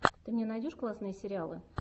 ты мне найдешь классные сериалы